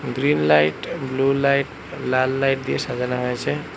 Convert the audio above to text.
Green light blue light লাল light দিয়ে সাজানো হয়েছে।